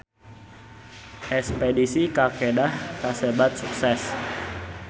Espedisi ka Kedah kasebat sukses